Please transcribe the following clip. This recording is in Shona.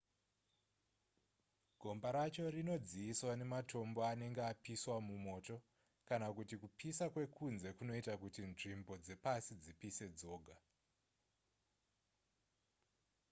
gomba racho rinodziiswa nematombo anenge apiswa mumoto kana kuti kupisa kwekunze kunoita kuti nzvimbo dzepasi dzipise dzoga